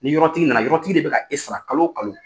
Ni yɔrɔtigi na na yɔrɔtigi de bɛ ka e sara kalo kalo.